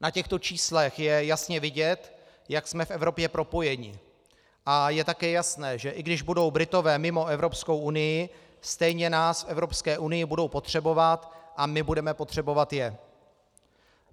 Na těchto číslech je jasně vidět, jak jsme v Evropě propojeni, a je také jasné, že i když budou Britové mimo Evropskou unii, stejně nás v Evropské unii budou potřebovat a my budeme potřebovat je.